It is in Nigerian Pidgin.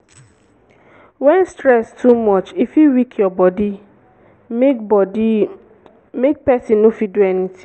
when stress too much e fit weak your body make body make person no fit do anything